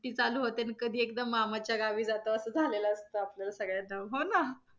कधी चालू होते आणि कधी एकदा मामाच्या गावी जातो असं झालेलं असतं आपल्याला सगळ्यांना हो ना.